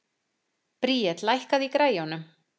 Bríet, lækkaðu í græjunum.